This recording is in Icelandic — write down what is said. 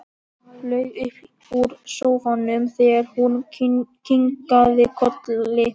Flaug upp úr sófanum þegar hún kinkaði kolli.